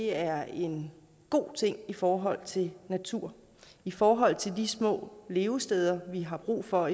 er en god ting i forhold til naturen i forhold til de små levesteder vi har brug for